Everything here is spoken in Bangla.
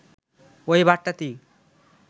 ওই বার্তাটি